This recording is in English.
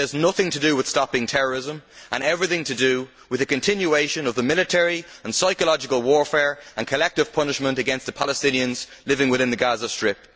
It has nothing to do with stopping terrorism and everything to do with the continuation of the military and psychological warfare and collective punishment against the Palestinians living within the Gaza Strip.